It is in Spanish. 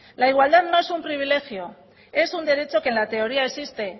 la igualdad no es un privilegio es un derecho que en la teoría existe